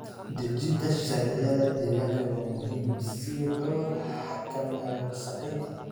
Dejinta sharciyada deegaanka waa muhiim si loo xakameeyo wasakheynta.